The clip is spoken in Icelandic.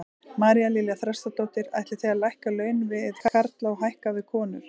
María Lilja Þrastardóttir: Ætlið þið að lækka laun við karla og hækka við konur?